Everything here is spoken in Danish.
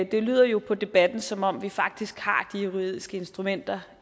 det lyder jo på debatten som om vi faktisk har de juridiske instrumenter